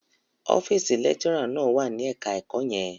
Ọ́fíísì lecturer náà wà ní ẹ̀ka-ẹ̀kọ́ yẹn.